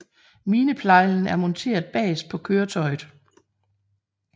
Mineplejlen er monteret bagerst på køretøjet